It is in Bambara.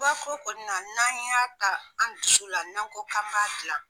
Ba ko kɔnina n'an y' a ta an dusu la n' an ko k'an b'a dilan.